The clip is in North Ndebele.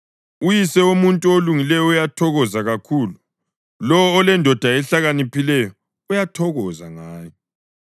Uyise womuntu olungileyo uyathokoza kakhulu; lowo olendodana ehlakaniphileyo uyathokoza ngayo.